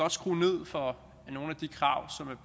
at skrue ned for